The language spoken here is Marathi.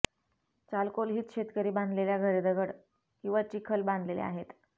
चाल्कोल्हीथ शेतकरी बांधलेल्या घरे दगड किंवा चिखल बांधलेले आहेत